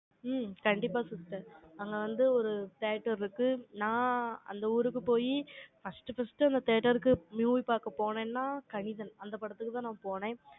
ம், கண்டிப்பா sister. அங்க வந்து, ஒரு theatre இருக்கு. நான், அந்த ஊருக்கு போயி, first first அந்த theatre க்கு, movie பாக்க போனேன்னா, கணிதன். அந்த படத்துக்குதான், நான் போனேன்